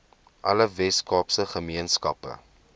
alle weskaapse gemeenskappe